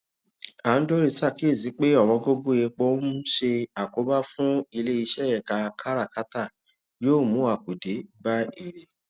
andori ṣàkíyèsí pé ọwọn gógó epo ń ṣe àkóbá fún iléiṣẹ ẹka káràkátà yóò mú àkùdé bá èrè